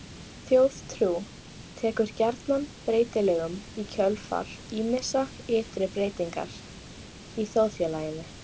Þjóðtrú tekur gjarnan breytingum í kjölfar ýmissa ytri breytinga í þjóðfélaginu.